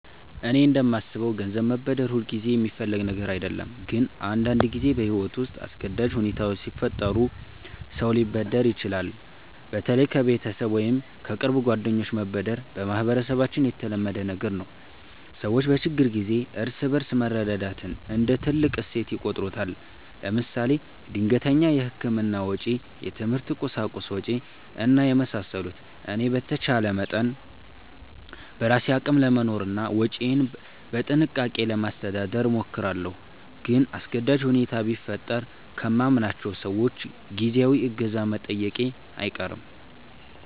እኔ እንደማስበው ገንዘብ መበደር ሁልጊዜ የሚፈለግ ነገር አይደለም፣ ግን አንዳንድ ጊዜ በሕይወት ውስጥ አስገዳጅ ሁኔታዎች ሲፈጠሩ ሰው ሊበደር ይችላል። በተለይ ከቤተሰብ ወይም ከቅርብ ጓደኞች መበደር በማህበረሰባችን የተለመደ ነገር ነው። ሰዎች በችግር ጊዜ እርስ በርስ መረዳዳትን እንደ ትልቅ እሴት ይቆጥሩታል። ለምሳሌ ድንገተኛ የሕክምና ወጪ፣ የትምህርት ቁሳቁስ ወጭ እና የመሳሰሉት። እኔ በተቻለ መጠን በራሴ አቅም ለመኖርና ወጪዬን በጥንቃቄ ለማስተዳደር እሞክራለሁ። ግን አስገዳጅ ሁኔታ ቢፈጠር ከማምናቸው ሰዎች ጊዜያዊ እገዛ መጠየቄ አይቀርም